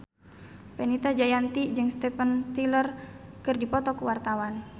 Fenita Jayanti jeung Steven Tyler keur dipoto ku wartawan